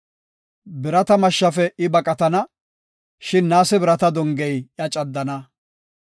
Birata mashshafe I baqatana; shin naase birata dongey iya caddana.